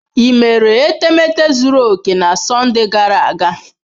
Ị mere etemeete zuru oke na Sọnde gara aga?